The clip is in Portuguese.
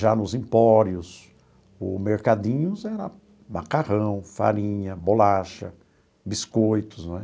Já nos empórios ou mercadinhos, era macarrão, farinha, bolacha, biscoitos, não é?